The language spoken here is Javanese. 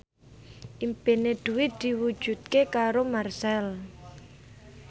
impine Dwi diwujudke karo Marchell